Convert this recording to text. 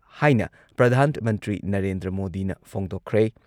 ꯍꯥꯏꯅ ꯄ꯭ꯔꯙꯥꯟ ꯃꯟꯇ꯭ꯔꯤ ꯅꯔꯦꯟꯗ꯭ꯔ ꯃꯣꯗꯤꯅ ꯐꯣꯡꯗꯣꯛꯈ꯭ꯔꯦ ꯫